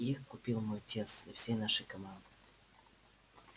их купил мой отец для всей нашей команды